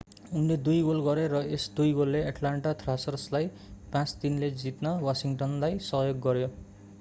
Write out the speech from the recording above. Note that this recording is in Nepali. उनले 2 गोल गरे र यस 2 गोलले एट्लान्टा थ्रासर्रलाई 5-3 ले जित्न वासिङ्टनलाई सहयोग गर्‍यो।